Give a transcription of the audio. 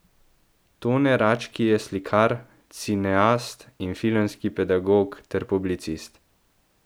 Tone Rački je slikar, cineast in filmski pedagog ter publicist.